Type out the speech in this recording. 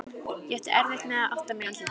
Ég átti erfitt með að átta mig á andlitinu.